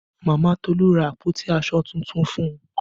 Mama Tolu ra àpótí aṣọ tuntun fún un